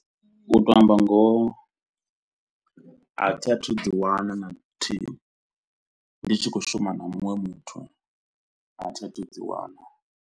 U tou amba ngoho a thi a thu dzi wana na luthihi ndi tshi khou shuma na muṅwe muthu a thi a thu dzi wana.